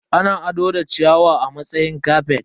Ana ado da ciyawa a matsayin kafet.